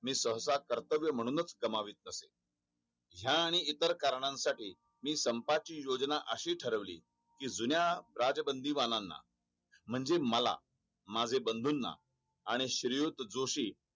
मी सहसा कर्तव्य म्हणूच कामवित असे या आणि इतर करण्यासाठी मी संपाची योजना अशी ठरवली कि जुन्या राजबंदीबाणांना म्हणजे मला माझे बंधू ना आणि श्रीयुत जोशी